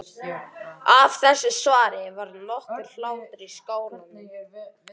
Af þessu svari varð nokkur hlátur í skálanum.